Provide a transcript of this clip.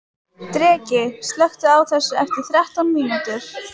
Dreki, slökktu á þessu eftir þrettán mínútur.